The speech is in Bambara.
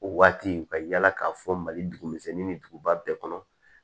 O waati ka yaala k'a fɔ mali dugu misɛnni ni duguba bɛɛ kɔnɔ